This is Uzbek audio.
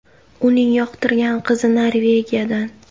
Uning yoqtirgan qizi Norvegiyadan.